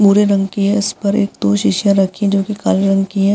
भूरे रंग की है इस पर एक दो शीशियां रखी है जो कि काले रंग की है |